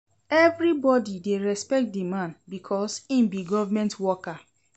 Everybodi dey respect di man because im be government worker.